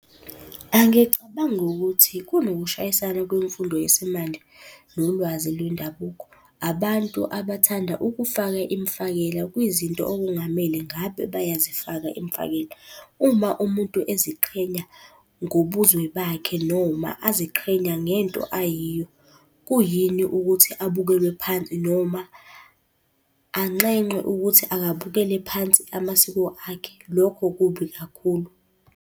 Angicabangi ukuthi kunokushayisana kwemfundo yesimanje nolwazi lwendabuko. Abantu abathanda ukufaka imifakela kwizinto okungamele ngabe bayazifaka imifakela. Uma umuntu eziqhenya ngobuzwe bakhe noma aziqhenya ngento ayiyo, kuyini ukuthi abukelwe phansi noma anxenxwe ukuthi akabukele phansi amasiko akhe. Lokho kubi kakhulu.